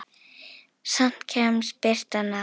Samt kemst birtan að.